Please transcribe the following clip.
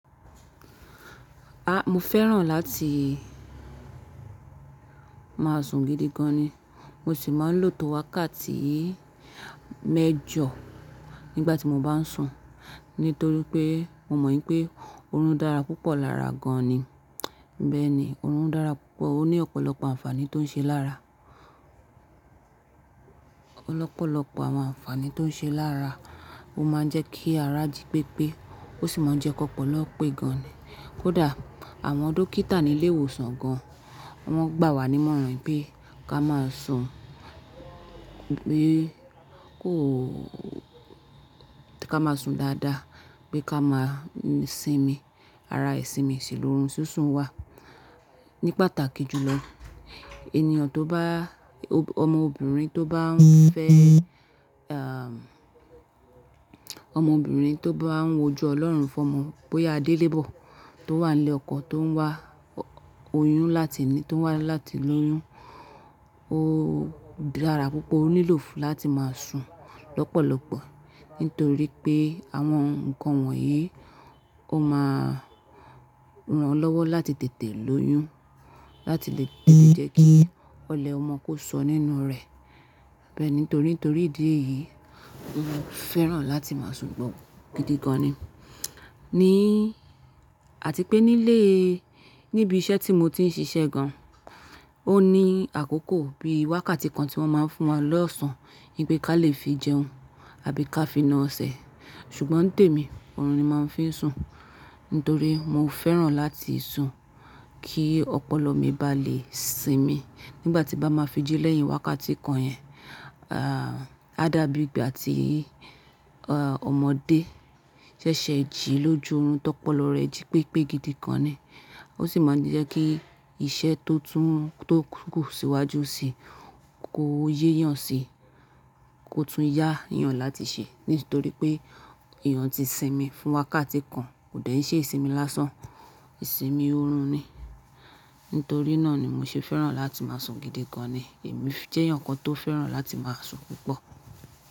A! Mo fẹ́ràn láti má sùn gidi gan ni. Mo sì máa ń lò tó wákàtí mẹ́jọ nígbàtí mo bá n sùn. Nítorí pé, mo mọ̀ pé, oorun dára púpọ̀ lára gan ni. Bẹ́ẹ̀ ni, oorun dára púpọ̀, ó ní ọ̀pọ̀lọpọ̀ ànfàní tó ń ṣe lára. Ọ̀pọ̀lọpọ̀ àwọn ànfàní tó ń ṣe lára. Ó máa ń jẹ́ kí ara jí pépé, ó sì máa ń jẹ́ kọ̀pọ̀lọ̀ pé gan ni. Kódà àwọn dókítà ní ilé ìwòsàn gan, wọ́n gbà wá nímọ̀ràn pé ká máa sùn, pé kó— ká máa sùn dáadáa, pé ká máa sìnmi. Ara ìsinmi sì ni oorun, súnsun wà ní pàtàkì jùlọ. Ènìyàn tó bá-- ọmọbìnrin tó bá ń fẹ́ à, ọmọbìnrin tó bá ń woju Ọlọ́run fún ọmọ bóyá adélébọ̀ tó wà nílé ọkọ tó ń wá oyún láti ní, tó ń wá láti lóyún. Ó dára púpọ̀, ó nílò fún láti máa sùn lọ́pọ̀lọpọ̀. Nítorí pé àwọn nǹkan wọ̀nyí ó máa ran lọ́wọ́ láti tètè lóyún, láti lè jẹ́ kí ọlẹ̀ ọmọ kó sọ nínú rẹ̀. Bẹ́ẹ̀ni, torí torí ìdí èyí, mo fẹ́ràn láti máa sùn púpọ̀ gidi gan ni. Ni àti pé nílé, níbi iṣẹ́ tí mo ti ń ṣiṣẹ́ gan, ó ní àkókò bí i wákàtí kan tí wọ́n máa ń fún wa lọ́sàn. Ní pé ká lè fi jẹun àbí ká fi na ọsẹ. Ṣùgbọ́n tèmi oorun ni màá ń fi sùn. Nítorí mo fẹ́ràn láti sùn kí ọpọlọ mi bá lè sìnmi. Nígbà tí bá máa fi jí lẹ́yìn wákàtí kan yẹn, ah á dàbí ìgbà tí ọmọdé ṣẹ̀ṣẹ̀ jí lójú oorun tọ́pọ̀lọ̀ rẹ̀ jí pépé gidi gan ni. Ó sì máa ń jẹ́ kí iṣẹ́ tó tún tó kù síwájú síi kó yé yàn síi, kó tún yá èèyàn láti ṣe. Nítorí pé èèyàn yàn ti sìnmi fún wákàtí kan kò dẹ̀ ńṣe isìnmi lásán. Sìnmi oorun ni. Nítorí náà ni mo ṣe fẹ́ràn láti máa sùn gidi gan ni. Èmi jẹ́ èèyàn kan tó fẹ́ràn láti máa sùn púpọ̀